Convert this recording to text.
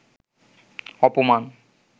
অপমান